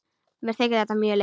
Mér þykir þetta mjög leitt.